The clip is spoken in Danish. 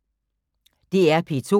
DR P2